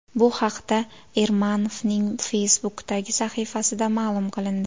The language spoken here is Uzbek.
Bu haqda Ermanovning Facebook’dagi sahifasida ma’lum qilindi .